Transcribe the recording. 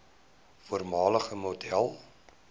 voormalige model